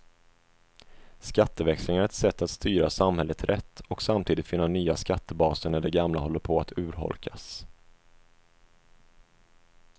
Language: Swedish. Skatteväxling är ett sätt att styra samhället rätt och samtidigt finna nya skattebaser när de gamla håller på att urholkas.